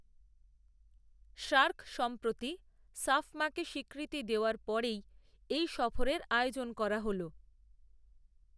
SAARC সম্প্রতি সাফমাকে স্বীকৃতি দেওয়ার পরেই, এই সফরের আয়োজন করা হল